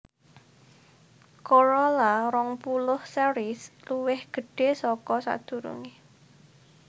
Corolla rong puluh series luwih gedhé saka sadurungé